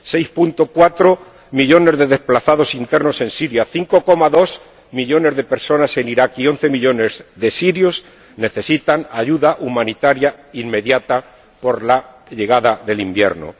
6,4 millones de desplazados internos en Siria, 5,2 millones de personas en Irak y 11 millones de sirios necesitan ayuda humanitaria inmediata por la llegada del invierno.